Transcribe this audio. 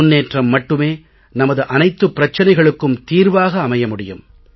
முன்னேற்றம் மட்டுமே நமது அனைத்துப் பிரச்சனைகளுக்கும் தீர்வாக அமைய முடியும்